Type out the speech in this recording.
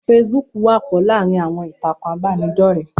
Feṣibúkù wọ́pọ̀ láàrin àwọn ìtàkùn ìbánidọ́rẹ́